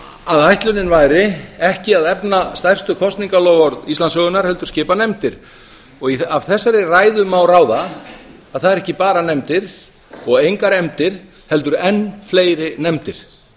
að ætlunin væri ekki að efna stærstu kosningaloforð íslandssögunnar heldur skipa nefndir og af þessari ræðu má ráða að það eru ekki bara nefndir og engar efndir heldur enn fleiri nefndir